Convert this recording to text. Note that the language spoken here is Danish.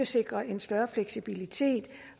sikre en større fleksibilitet